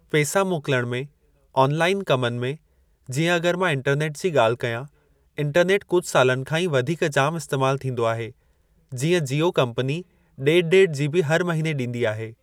पेसा मोकिलणु में ऑनलाइन कमनि में जीअं अग॒रि मां इंटरनेट जी ॻाल्हि कयां इंटरनेट कुझु सालनि खां ई वधीक जामु इस्तैमाल थींदो आहे जीअं जीओ कंपनी डे॒ढु डे॒ढु जीबी हर महिने ॾींदी आहे।